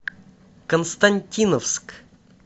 константиновск